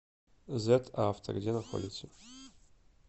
зэт авто где находится